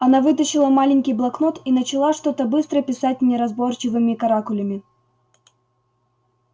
она вытащила маленький блокнот и начала что-то быстро писать неразборчивыми каракулями